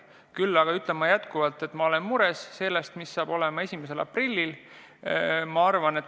Küll aga ütlen jätkuvalt, et ma olen mures selle pärast, mis saab olema pärast 1. aprilli.